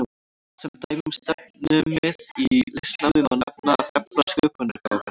Sem dæmi um stefnumið í listnámi má nefna að efla sköpunargáfu.